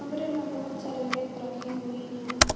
बहुत सारे रेक रखी हुई है।